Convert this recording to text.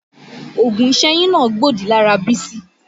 Oògùn ìsẹ́yún náà gbòdì lára Bísí